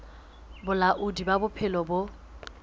ba bolaodi ba bophelo bo